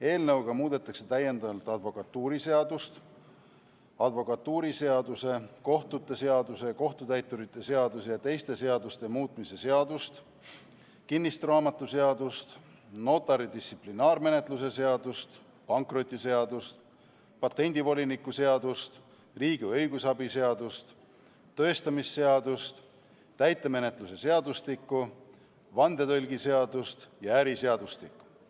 Eelnõuga muudetakse ka advokatuuriseadust, advokatuuriseaduse, kohtute seaduse, kohtutäituri seaduse ja teiste seaduste muutmise seadust, kinnistusraamatuseadust, notari distsiplinaarvastutuse seadust, pankrotiseadust, patendivoliniku seadust, riigi õigusabi seadust, tõestamisseadust, täitemenetluse seadustikku, vandetõlgi seadust ja äriseadustikku.